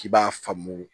K'i b'a faamu